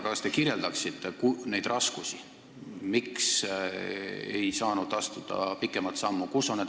Kas te kirjeldaksite neid raskusi, miks ei saanud astuda pikemat sammu?